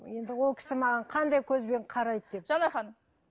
енді ол кісі маған қандай көзбен қарайды деп жанар ханым